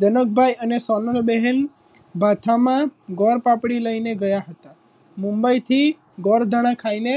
જનકભાઈ અને સોનલબેન ભાષામાં ગોળ પાપડી લઈને ગયા હતા મુંબઈથી ગોળધાણા ખાઈને